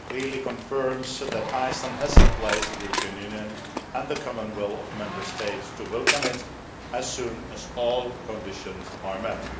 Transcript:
It clearly confirms that Iceland has a place in the European Union and the common will of Member States to welcome it as soon as all conditions are met.